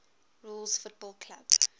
rules football clubs